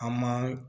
An man